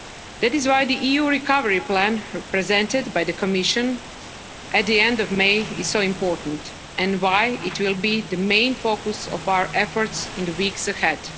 That is why the EU recovery plan, presented by the Commission at the end of May, is so important, and why it will be the main focus of our efforts in the weeks ahead.